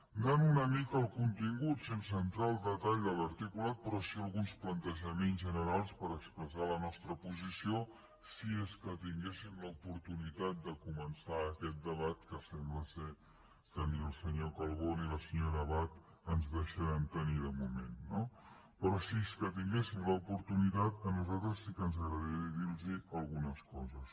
anant una mica al contingut sense entrar al detall de l’articulat però sí alguns plantejaments generals per expressar la nostra posició si és que tinguéssim l’oportunitat de començar aquest debat que sembla que ni el senyor calbó ni la senyora abad ens deixa·ran tenir de moment no però si és que tinguéssim l’oportunitat a nosaltres sí que ens agradaria dir·los algunes coses